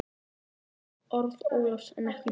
Þetta voru orð Ólafs en ekki mín.